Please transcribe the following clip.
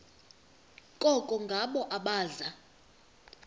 koko ngabo abaza